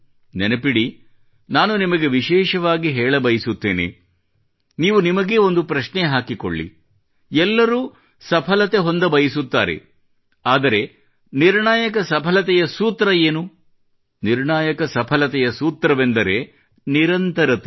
ನೆನಪಿಡಿ ನಾನು ನಿಮಗೆ ವಿಶೇಷವಾಗಿ ಹೆಳಬಯಸುತ್ತೇನೆ ನೀವು ನಿಮಗೇ ಒಂದು ಪ್ರಶ್ನೆ ಹಾಕಿಕೊಳ್ಳಿ ಎಲ್ಲರೂ ಸಫಲತೆ ಹೊಂದಬಯಸುತ್ತಾರೆ ಆದರೆ ನಿರ್ಣಾಯಕ ಸಫಲತೆಯ ಸೂತ್ರ ಏನು ನಿರ್ಣಾಯಕ ಸಫಲತೆಯ ಸೂತ್ರವೇನೆಂದರೆ ನಿರಂತರತೆ